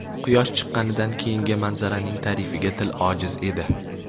Quyosh chiqqanidan keyingi manzaraning ta’rifiga til ojiz edi.